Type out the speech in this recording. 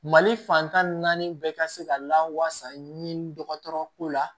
Mali fantan ni naani bɛɛ ka se ka lawasa ni dɔgɔtɔrɔ ko la